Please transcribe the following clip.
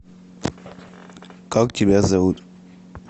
как тебя зовут